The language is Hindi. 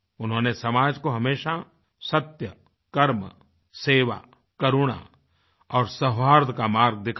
उन्होंने समाज को हमेशा सत्य कर्म सेवा करुणा और सौहार्द का मार्ग दिखाया